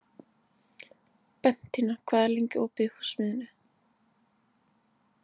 Bentína, hvað er lengi opið í Húsasmiðjunni?